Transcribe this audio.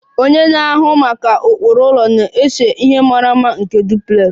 Onye na-ahụ maka ụkpụrụ ụlọ na-ese ihe mara mma nke duplex